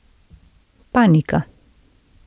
Panika.